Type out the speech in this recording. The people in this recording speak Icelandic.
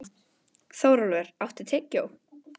Þórólfur, áttu tyggjó?